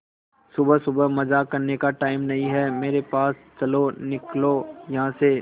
सुबह सुबह मजाक करने का टाइम नहीं है मेरे पास चलो निकलो यहां से